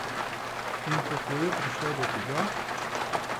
In kako je prišla do tega?